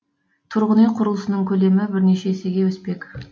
тұрғын үй құрылысының көлемі бірнеше есеге өспек